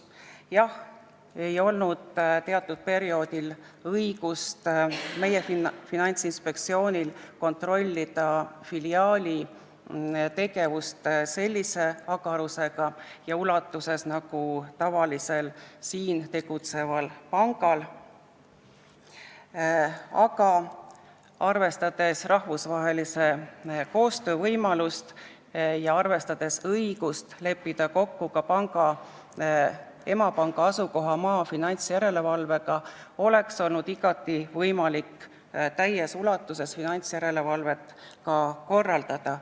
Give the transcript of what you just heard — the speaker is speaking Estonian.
Jah, teatud perioodil ei olnud meie Finantsinspektsioonil õigust kontrollida filiaali tegevust sellise agarusega ja ulatuses, nagu kontrollitakse tavalist siin tegutsevat panka, aga arvestades rahvusvahelise koostöö võimalust ja õigust leppida kokku ka panga emapanga asukohamaa finantsjärelevalvega, oleks olnud igati võimalik täies ulatuses finantsjärelevalvet korraldada.